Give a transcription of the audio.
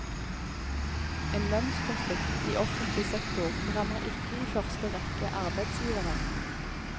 En lønnskonflikt i offentlig sektor rammer ikke i første rekke arbeidsgiveren.